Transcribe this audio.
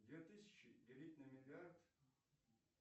две тысячи делить на миллиард